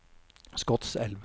Skotselv